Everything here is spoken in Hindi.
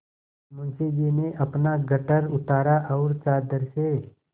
मुंशी जी ने अपना गट्ठर उतारा और चादर से